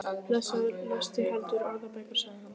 Blessaður lestu heldur orðabækur, sagði hann.